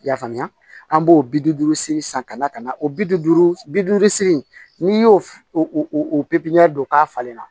I y'a faamuya an b'o bi duuru seegin san ka na ka na o bi duuru bi duuru segin n'i y'o o pipiniyɛri don k'a falen na